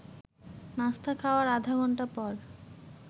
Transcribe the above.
নাস্তা খাওয়ার আধা ঘণ্টা পর